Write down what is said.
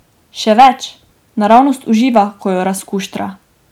Še več, naravnost uživa, ko jo razkuštra.